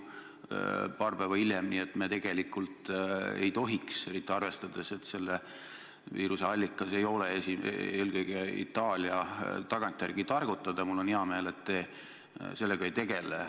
Ma arvan, et see pole korrektne.